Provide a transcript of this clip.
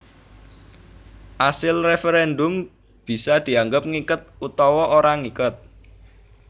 Asil referendum bisa dianggep ngiket utawa ora ngiket